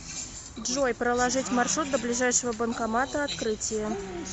джой проложить маршрут до ближайшего банкомата открытие